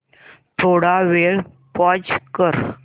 थोडा वेळ पॉझ कर